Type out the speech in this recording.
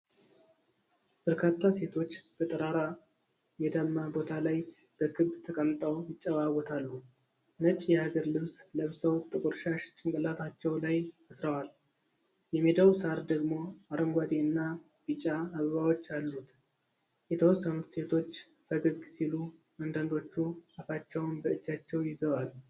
በርካታ ሴቶች በጠራራ ሜዳማ ቦታ ላይ በክብ ተቀምጠው ይጨዋወታሉ። ነጭ የሀገር ልብስ ለብሰው ጥቁር ሻሽ ጭንቅላታቸው ላይ አስረዋል፡፡ የሜዳው ሣር ደግሞ አረንጓዴ እና ቢጫ አበባዎች አሉት። የተወሰኑት ሴቶች ፈገግ ሲሉ አንዳንዶቹ አፋቸውን በእጃቸው ይዘዋል።